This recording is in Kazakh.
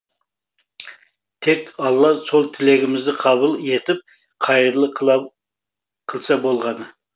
тек алла сол тілегімізді қабыл етіп қайырлы қылса болғаны